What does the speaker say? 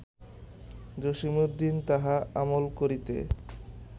জসীমউদ্দীন তাহা আমল করিতে